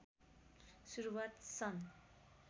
सुरुवात सन